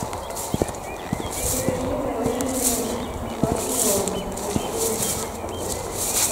закажи мороженое баскин роббинс большую упаковку